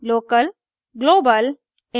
local local global global